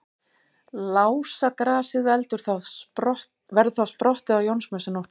Lásagrasið verður þá sprottið á Jónsmessunótt.